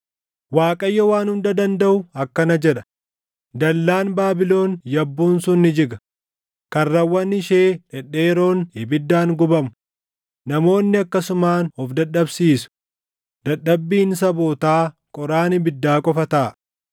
Waaqayyo Waan Hunda Dandaʼu akkana jedha; “Dallaan Baabilon yabbuun sun ni jiga; karrawwan ishee dhedheeroon ibiddaan gubamu; namoonni akkasumaan of dadhabsiisu; dadhabbiin sabootaa qoraan ibiddaa qofa taʼa.”